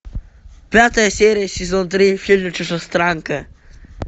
пятая серия сезон три фильм чужестранка